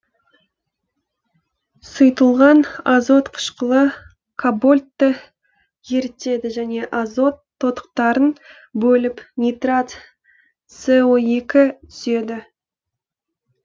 сұйытылған азот қышқылы кабольтты ерітеді және азот тотықтарын бөліп нитрат с о екі түзеді